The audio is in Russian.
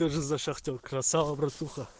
тоже за шахтёр красава братуха